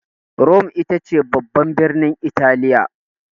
Rome ita ce babban birnin Italiya.